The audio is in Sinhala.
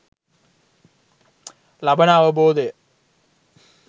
ලබන අවබෝධය